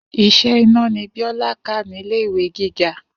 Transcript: Is̩é̩ iná ni Bíó̩lá kà nílé ìwé gíga